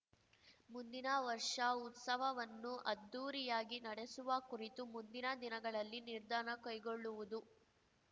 ಮುಂದಿನ ವರ್ಷ ಉತ್ಸವವನ್ನು ಅದ್ಧೂರಿಯಾಗಿ ನಡೆಸುವ ಕುರಿತು ಮುಂದಿನ ದಿನಗಳಲ್ಲಿ ನಿರ್ಧಾರ ಕೈಗೊಳ್ಳುವುದು